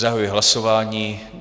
Zahajuji hlasování.